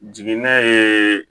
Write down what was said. Jigini ye